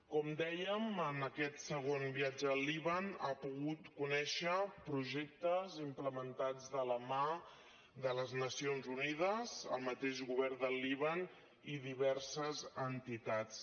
com dèiem en aquest segon viatge al líban ha pogut conèixer projectes implementats de la mà de les nacions unides el mateix govern del líban i diverses entitats